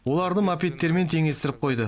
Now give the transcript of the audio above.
оларды мопедтермен теңестіріп қойды